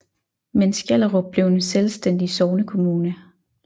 Men Skjellerup blev en selvstændig sognekommune